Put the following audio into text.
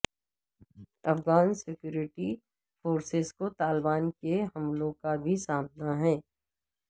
Afghan security forces کو طالبان کے حملوں کا بھی سامنا ہے